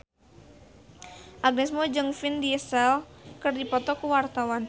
Agnes Mo jeung Vin Diesel keur dipoto ku wartawan